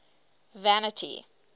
vanity